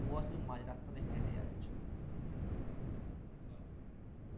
ও আসলে তুমি মাঝ রাস্তা দিয়ে হেঁটে হেঁটে যাচ্ছ বাহ